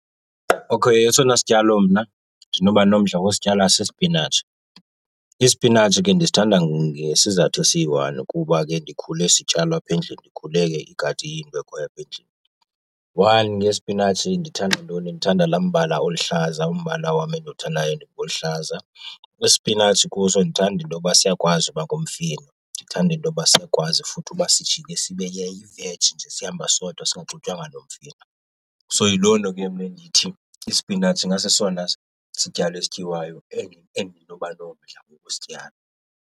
Okay, esona sityalo mna ndinoba nomdla wosityala sisipinatshi. Isipinatshi ke ndisithanda ngesizathu esiyi-one kuba ke ndikhule sityalwa apha endlini, ndikhule igadi iyinto ekhoyo apha endlini. One, ngesipinatshi ndithanda ntoni? Ndithanda laa mbala oluhlaza, umbala wam endiwuthandayo ngoluhlaza. Isipinatshi kuso ndithanda intoba siyakwazi uba ngumfino, ndithanda intoba siyakwazi futhi uba sijike sibe yiveji nje sihamba sodwa singaxutywanga nomfino. So yiloo nto ke mna endithi isipinatshi ingasesona sityalo esityiwayo endinoba nomdla wokusityala.